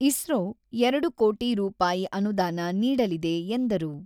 ಇಸ್ರೋ ಎರಡು ಕೋಟಿ ರೂಪಾಯಿ ಅನುದಾನ ನೀಡಲಿದೆ ಎಂದರು.